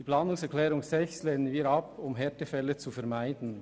Die Planungserklärung 4 lehnen wir ab, um Härtefälle zu vermeiden.